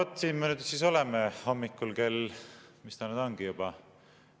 No vot, siin me nüüd siis oleme hommikul kell – mis ta nüüd ongi juba?